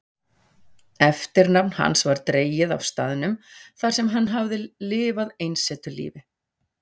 Eftirnafn hans var dregið af staðnum þarsem hann hafði lifað einsetulífi.